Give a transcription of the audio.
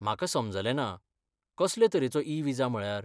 म्हाका समजलें ना, कसले तरेचो ई विजा म्हळ्यार?